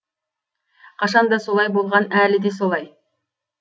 қашанда солай болған әлі де солай